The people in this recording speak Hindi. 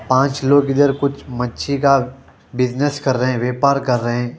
पांच लोग इधर कुछ मच्छी का बिजनेस कर रहे हैं व्यापार कर रहे हैं।